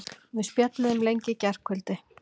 Við spjölluðum lengi í gærkvöldi.